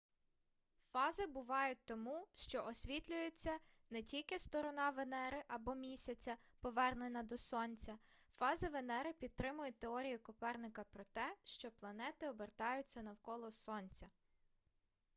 фази бувають тому що освітлюється тільки сторона венери або місяця повернена до сонця. фази венери підтримують теорію коперника про те що планети обертаються навколо сонця